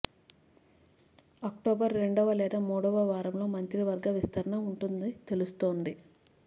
October రెండవ లేదా మూడవ వారంలో మంత్రి వర్గ విస్తరణ ఉంటుందని తెలుస్తోంది